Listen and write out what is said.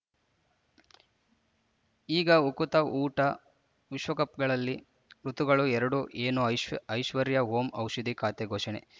ಈಗ ಉಕುತ ಊಟ ವಿಶ್ವಕಪ್‌ಗಳಲ್ಲಿ ಋತುಗಳು ಎರಡು ಏನು ಐಶ್ ಐಶ್ವರ್ಯಾ ಓಂ ಔಷಧಿ ಖಾತೆ ಘೋಷಣೆ